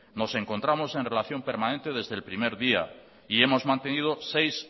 nos encontramos en relación permanente desde el primer día y hemos mantenido seis